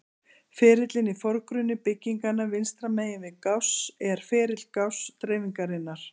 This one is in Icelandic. Ferillinn í forgrunni bygginganna vinstra megin við Gauss er ferill Gauss-dreifingarinnar.